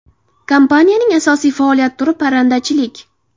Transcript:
Kompaniyaning asosiy faoliyat turi parrandachilik.